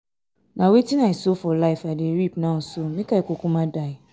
na wetin i sow for life i dey reap now so make i kukuma die.